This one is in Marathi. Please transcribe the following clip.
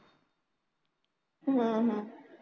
हम्म हम्म